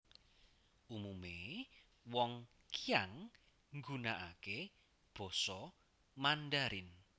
Umume wong Qiang nggunakake Basa Mandarin